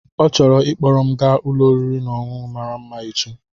Ọ chọrọ ịkpọrọ m gaa ụlọ oriri na ọṅụṅụ mara mma echi.